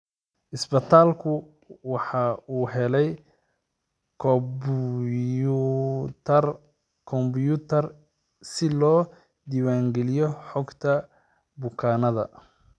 Isbitaalku waxa uu helay kombuyuutar si loo diiwaan geliyo xogta bukaanka.